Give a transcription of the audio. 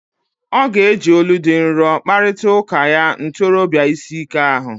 Ọ ga-eji olu dị nro kparịta ụka ya ntorobia ịsị ike ahụ.